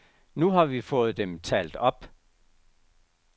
Nu har vi fået dem talt op.